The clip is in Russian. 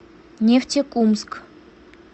нефтекумск